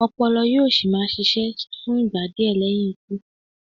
Ọpọlọ yóò sì máa ṣiṣẹ́ fún ìgbà díẹ̀ lẹ́yìn ikú.